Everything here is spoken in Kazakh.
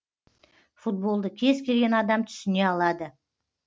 футболды кез келген адам түсіне алады